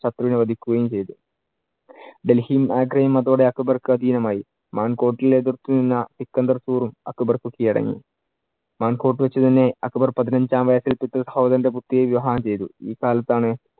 ശത്രുവിനെ വധിക്കുകയും ചെയ്തു. ഡൽഹിയും ആഗ്രയും അതോടെ അക്ബർക്ക് അധീനമായി. എതിര്‍ക്കുന്ന സിക്കന്ദർസൂറും അക്ബർക്കു കിഴടങ്ങി. വെച്ചു തന്നെ അക്ബർ പതിനഞ്ചാം വയസ്സിൽ പിതൃ സഹോദരന്‍റെ പുത്രിയെ വിവാഹം ചെയ്തു. ഈ കാലത്താണ്